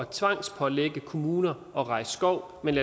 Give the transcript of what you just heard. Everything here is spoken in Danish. tvangspålægge kommuner at rejse skov men